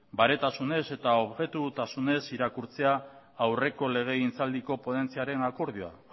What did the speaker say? baretasunez eta objetibotasunez irakurtzea aurreko legegintzaldiko ponentziaren akordioa